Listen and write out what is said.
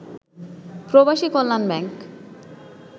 প্রবাসী কল্যাণ ব্যাংক